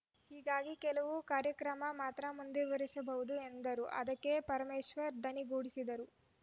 ಹೀಗಾಗಿ ಕೆಲವು ಕಾರ್ಯಕ್ರಮ ಮಾತ್ರ ಮುಂದುವರೆಸಬಹುದು ಎಂದರು ಅದಕ್ಕೆ ಪರಮೇಶ್ವರ್‌ ದನಿಗೂಡಿಸಿದ್ದರು